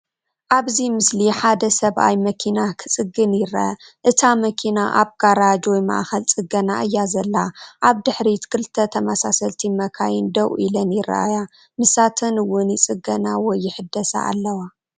ኣብዚ ምስሊ ሓደ ሰብኣይ መኪና ክጽግን ይርአ። እታ መኪና ኣብ ጋራጅ ወይ ማእከል ጽገና እያ ዘላ። ኣብ ድሕሪት ክልተ ተመሳሰልቲ መካይን ደው ኢለን ይረኣያ፡ ንሳተን እውን ይጽገና ወይ ይሕደሳ ኣለዋ።